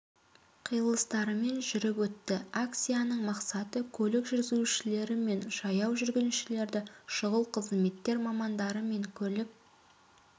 қиылыстарымен жүріп өтті акцияның мақсаты көлік жүргізушілер мен жаяу жүргіншілерді шұғыл қызметтер мамандары мен көлік